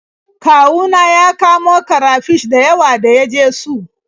Kawu na ya kamo karafish da yawa da ya je su.